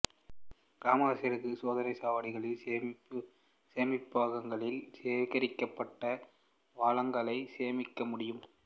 கிராமவாசிகளுக்கு சோதனைச் சாவடிகள் சேமிப்பகங்களில் சேகரிக்கப்பட்ட வளங்களை சேமிக்க முடியும்